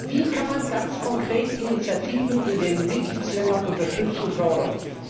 Wie kann man ganz konkret Initiativen in den Mitgliedstaaten unterstützen und fördern?